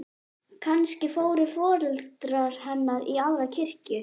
Kannski fóru foreldrar hennar í aðra kirkju.